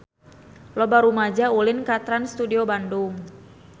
Loba rumaja ulin ka Trans Studio Bandung